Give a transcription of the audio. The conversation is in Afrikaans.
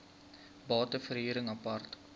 bate verhuring apart